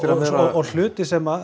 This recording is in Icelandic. og hluti sem